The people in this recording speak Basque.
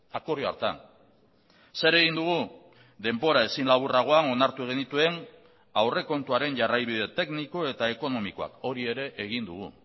akordio hartan zer egin dugu denbora ezin laburragoan onartu genituen aurrekontuaren jarraibide tekniko eta ekonomikoak hori ere egin dugu